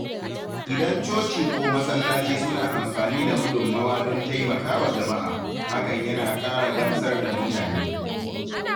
Idan coci ko masallaci suna amfani da gudunmawa don taimakawa jama’a, hakan yana ƙara gamsar da mutane.